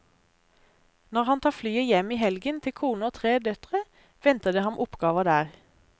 Når han tar flyet hjem i helgen til kone og tre døtre, venter det ham oppgaver der.